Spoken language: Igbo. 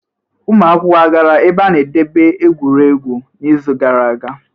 Ụmụ akwụkwọ a gara ebe a na-edebe egwuregwu n'izu gara aga?